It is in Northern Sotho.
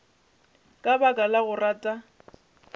ka baka la go rata